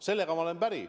Sellega ma olen päri.